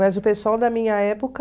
Mas o pessoal da minha época...